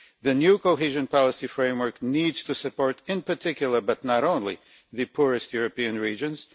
The new cohesion policy framework needs to support, in particular but not only, the poorest European regions.